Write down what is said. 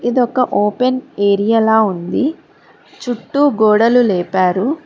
ఇది ఒక open area లా ఉంది చుట్టూ గోడలు లేపారు.